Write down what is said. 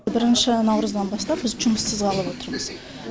бірінші наурыздан бастап біз жұмыссыз қалып отырмыз